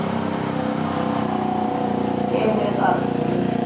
ਕਈ ਬਾਰੀ ਕਰ ਹੁੰਦੀ